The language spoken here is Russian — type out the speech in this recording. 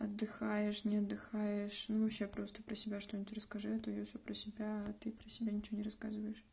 отдыхаешь не отдыхаешь ну вообще просто про себя что-нибудь расскажи а то я всё про тебя а ты про себя ничего не рассказываешь